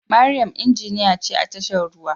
Mariam injiniya ce a tashar ruwa